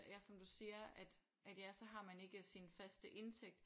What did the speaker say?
Ja som du siger at at ja så har man ikke sine faste indtægt